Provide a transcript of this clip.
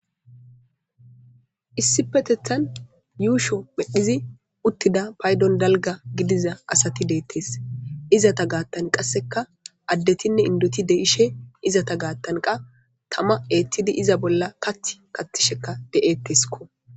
issipetethan yuusho pheqdhizi uttida paydon dalga gidiza asati deettes izata gaattan qasseka addetinne indoti de'ishe izata gaattanqa tama eettidi iza bolla kath katisheka de'etteskko